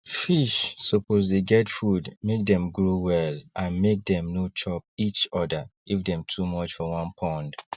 fish suppose dey get food make them grow well and make them no chop each other if them too much for one pond